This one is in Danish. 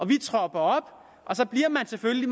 vi tropper op og så bliver man selvfølgelig